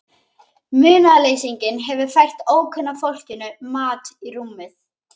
Munaðarleysinginn hefur fært ókunna fólkinu mat í rúmið.